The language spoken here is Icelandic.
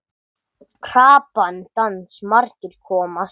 Krappan dans margir komast í.